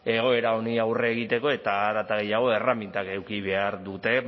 egoera honi aurre egiteko eta hare eta gehiago erremintak eduki behar dute